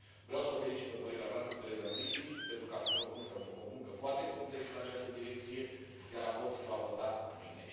Vreau să o felicit pe colega noastră Theresa Griffin pentru că a făcut o muncă foarte complexă în această direcție, iar raportul se va vota mâine.